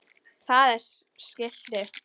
Það er skilti.